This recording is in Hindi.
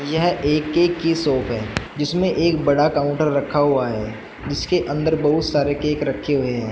यह ए_के की शॉप है जिसमें एक बड़ा काउंटर रखा हुआ है जिसके अंदर बहुत सारे केक रखे हुए हैं।